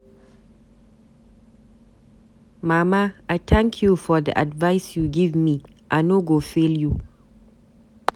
Mama I thank you for the advice you give me, I no go fail you.